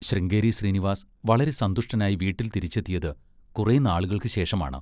ശൃംഗേരി ശ്രീനിവാസ് വളരെ സന്തുഷ്ടനായി വീട്ടിൽ തിരിച്ചെത്തിയത് കുറെ നാളുകൾക്കുശേഷമാണ്.